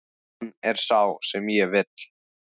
Hann er sá sem ég vil.